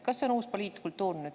Kas see on uus poliitkultuur nüüd?